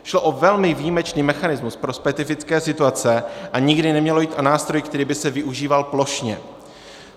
Šlo o velmi výjimečný mechanismus pro specifické situace a nikdy nemělo jít o nástroj, který by se využíval plošně.